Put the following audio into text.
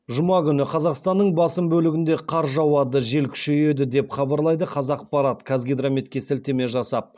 жұма күні қазақстанның басым бөлігінде қар жауады жел күшейеді деп хабарлайды қазақпарат қазгидрометке сілтеме жасап